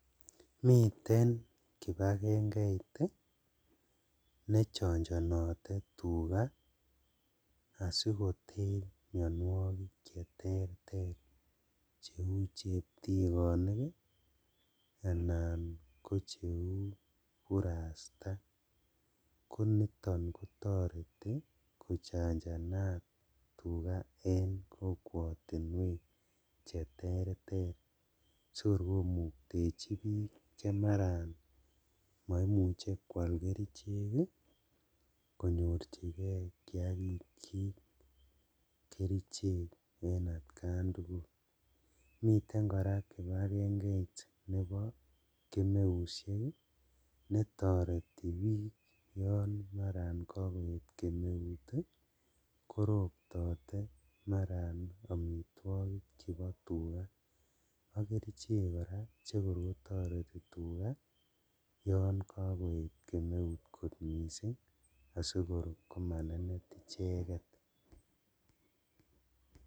Miten kipagengeit ii nechonjonote tugaa asikoter mionuokik cheterter cheu cheptikonik anan ko cheu burasta koniton kotoreti kochanjanat tuga en kokwotinwek cheterter sikor komuktechi bik chemaran moimuche kwal kerichek ii konyorjigee kaikikyik kerichek atkan tugul, miten koraa kipagengeit nebo kemeushek netoretik bik yon maran kokoet kemeut ii koroptote maran omitwogik chebo tugaa ak kerichek chekor kotoreti tugaa yon kokoet kemeut kot missing' asikor komanenet icheket.